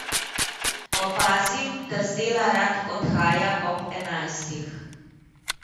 Opazim, da z dela rad odhaja ob enajstih.